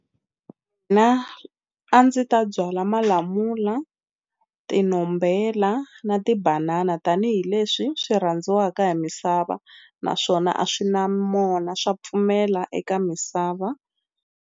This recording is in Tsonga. a ndzi ta byala malamula tinombhela na tibanana tanihileswi swi rhandziwaka hi misava naswona a swi na mona swa pfumela eka misava.